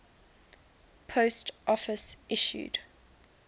post office issued